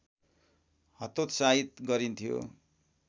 हतोत्साहित गरिन्थ्यो